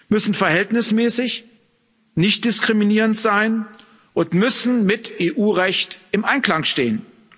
müssen verhältnismäßig und nichtdiskriminierend sein und müssen mit EU Recht im Einklang stehen.